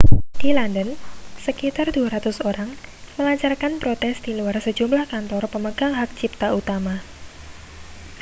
di london sekitar 200 orang melancarkan protes di luar sejumlah kantor pemegang hak cipta utama